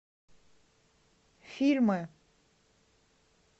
фильмы